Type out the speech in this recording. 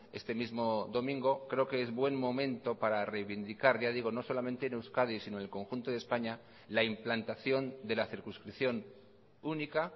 este mismo domingo creo que es buen momento para reivindicar ya digo no solamente en euskadi sino en el conjunto de españa la implantación de la circunscripción única